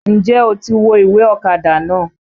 N jẹ́ o ti wo ìwé ọ̀kadà náà?